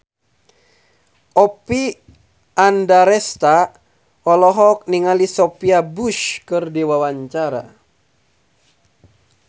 Oppie Andaresta olohok ningali Sophia Bush keur diwawancara